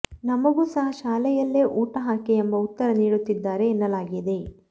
ನಮಗೂ ಸಹ ಶಾಲೆಯಲ್ಲೇ ಊಟ ಹಾಕಿ ಎಂಬ ಉತ್ತರ ನೀಡುತ್ತಿದ್ದಾರೆ ಎನ್ನಲಾಗಿದೆ